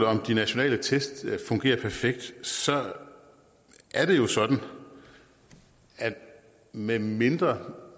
om de nationale tests fungerer perfekt er det jo sådan at medmindre